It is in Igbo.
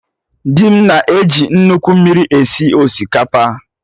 Dị m na eji nnukwu mmiri esi osikapa